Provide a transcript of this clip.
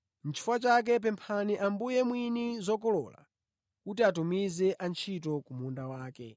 Nʼchifukwa chake, pemphani Ambuye mwini zokolola kuti atumize antchito ku munda wake.”